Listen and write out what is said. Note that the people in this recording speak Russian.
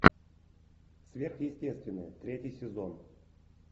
сверхъестественное третий сезон